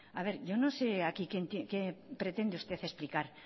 yo no sé aquí qué pretende usted explicar